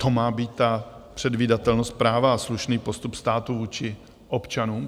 To má být ta předvídatelnost práva a slušný postup státu vůči občanům?